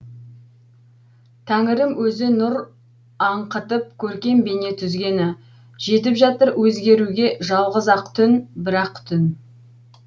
тәңірім өзі нұр аңқытып көркем бейне түзгені жетіп жатыр өзгеруге жалғыз ақ түн бір ақ түн